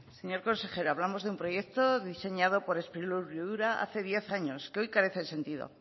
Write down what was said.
señor consejero hablamos de un proyecto diseñado por sprilur y ura hace diez años que hoy carece de sentido